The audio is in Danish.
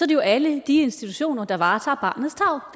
det jo alle de institutioner der varetager barnets tarv